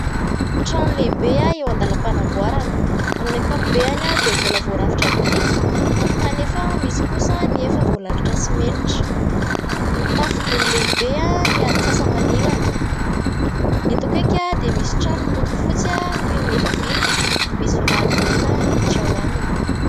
Trano lehibe eo an-dalam-panamboarana. Amin'ny akapobeny dia mbola voarafitra biriky kanefa misy kosa ny efa voalalotra simenitra. Mitafo gony lehibe ny atsasa-manilany. Eto akaiky dia misy trano miloko fotsy toin'ny efa vita misy vavahady mena miditra ao aminy.